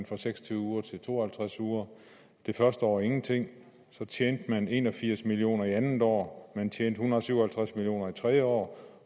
fra seks og tyve uger til to og halvtreds uger det første år ingenting så tjente man en og firs million kroner det andet år man tjente en hundrede og syv og halvtreds million tredje år